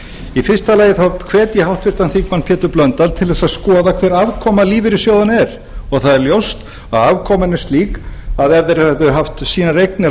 í fyrsta lagi hvet ég háttvirtur þingmaður pétur blöndal til að skoða hver afkoma lífeyrissjóðanna er og það er ljóst að afkoman er slík að ef þeir hefðu haft sínar eignir á